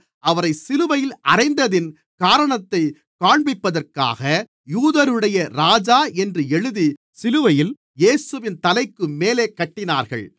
அவரை சிலுவையில் அறைந்ததின் காரணத்தைக் காண்பிப்பதற்காக யூதர்களுடைய ராஜா என்று எழுதி சிலுவையில் இயேசுவின் தலைக்குமேலே கட்டினார்கள்